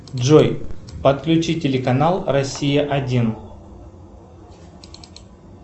джой подключи телеканал россия один